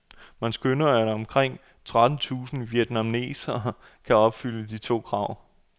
Man skønner, at omkring tretten tusind vietnamesere kan opfylde de to krav.